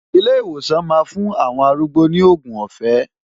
Ilé ìwòsàn máa fún àwọn arúgbó ní òògùn ọ̀fẹ́.